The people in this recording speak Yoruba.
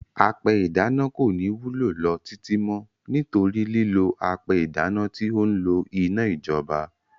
Apẹ ìdáná kò ní wúlò lọ títí mọ́, nítorí lílò apẹ ìdáná tí ó n lo iná ìjọba.